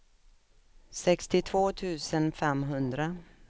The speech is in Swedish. sextiotvå tusen femhundra